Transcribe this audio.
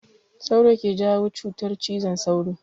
Sauro ke jawo cutar cizon sauro.